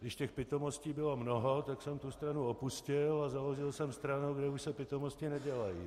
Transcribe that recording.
Když těch pitomostí bylo mnoho, tak jsem tu stranu opustil a založil jsem stranu, kde už se pitomosti nedělají.